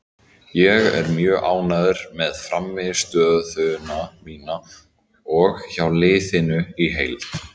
Ég er mjög ánægður með frammistöðuna mína og hjá liðinu í heild.